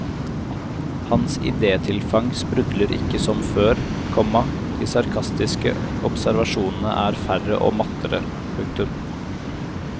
Hans idétilfang sprudler ikke som før, komma de sarkastiske observasjonene er færre og mattere. punktum